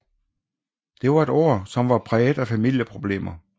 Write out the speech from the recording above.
Det var et år som var præget af familieproblemer